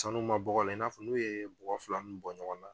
Sanu ma bɔgɔ la i n'a fɔ n'u ye bɔgɔ fila nunnu bɔ ɲɔgɔn na